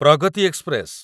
Pragati express